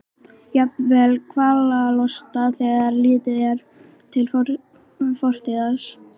Jafnvel kvalalosta þegar litið er til fortíðar hans.